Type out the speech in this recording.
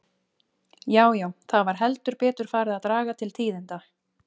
Já, já, það var heldur betur farið að draga til tíðinda!